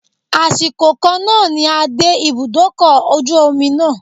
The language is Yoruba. Àsìkò kan náà ni a dé ibùdókọ̀ ojú omi náà.